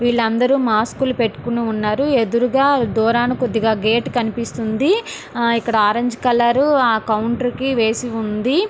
విల్లు అందరూ మాస్క్లు పటికొని ఉన్నారు ఎదురుగా దూరంగా కొద్దిగా గేటు కనిపిస్తున్నది ఆరంజ్ కలర్ ఆ కౌంటర్కీ వేసి ఉన్నది--